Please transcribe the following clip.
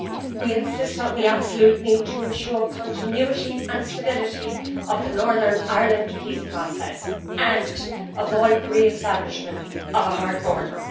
We insist on the absolute need to ensure continuity and stability of the Northern Ireland peace process and avoid the re establishment of a hard border.